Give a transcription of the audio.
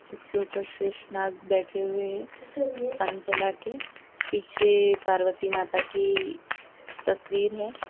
उसके ऊपर शेषनाग बैठे हुए है फन फैलाके पीछे पार्वती माता की तस्वीर है।